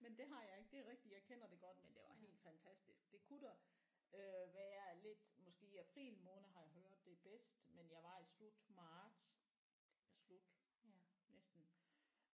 Men det har jeg ikke det er rigtigt jeg kender det godt men det var helt fantastisk det kun dog øh være lidt måske april måned har jeg hørt det er bedst men jeg var i slut marts slut næsten